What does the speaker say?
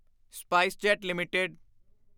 SpiceJet LTD